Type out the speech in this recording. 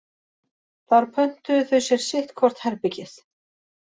Þar pöntuðu þau sér sitt hvort herbergið